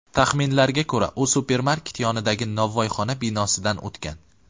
Taxminlarga ko‘ra, u supermarket yonidagi novvoyxona binosidan o‘tgan.